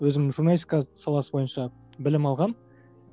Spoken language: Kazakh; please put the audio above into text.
өзім журналистика саласы бойынша білім алғанмын